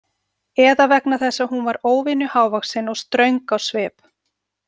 Eða vegna þess að hún var óvenju hávaxin og ströng á svip.